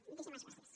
moltíssimes gràcies